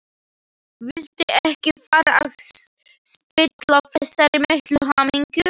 Vildi ekki fara að spilla þessari miklu hamingju.